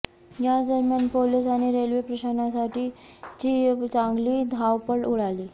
याचदरम्यान police आणि railway प्रशासनाची चांगली धावपळ उडाली